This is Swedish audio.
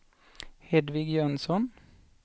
Hedvig Jönsson